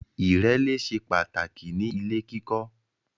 Ìrẹ́lé ṣe pàtàkì ní ilè kíkọ